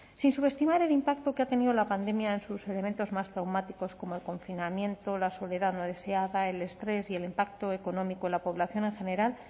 sin subestimar el impacto que ha tenido la pandemia en sus elementos más traumáticos como el confinamiento la soledad no deseada el estrés y el impacto económico de la población en general